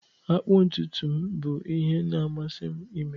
Ịkpụ ntutu m bụ ihe na-amasị m ime